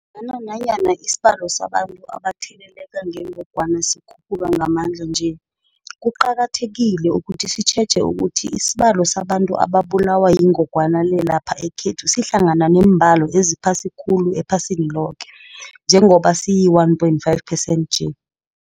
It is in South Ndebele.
Kodwana-ke nanyana isibalo sabantu abatheleleka ngengogwana sikhuphuka ngamandla kangaka nje, kuqakathekile ukuthi sitjheje ukuthi isibalo sabantu ababulawa yingogwana le lapha ekhethu sihlangana neembalo eziphasi khulu ephasini loke, njengoba siyi-1.5 percent nje.